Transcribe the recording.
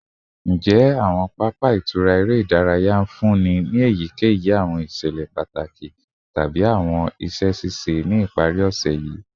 Njẹ awọn papa itura ere idaraya nfunni eyikeyi awọn iṣẹlẹ pataki tabi awọn iṣẹ ṣiṣe ni ipari ose yii?